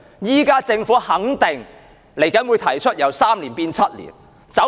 現時政府肯定稍後會提出由3年變成7年的建議。